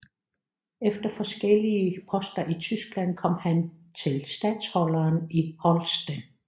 Efter forskellige poster i Tyskland kom han til statholderen i Holsten